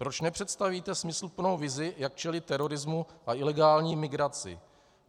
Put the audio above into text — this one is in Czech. Proč nepředstavíte smysluplnou vizi, jak čelit terorismu a ilegální migraci?